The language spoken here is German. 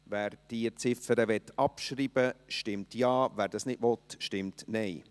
Wer diese Ziffer abschreiben möchte, stimmt Ja, wer dies nicht will, stimmt Nein.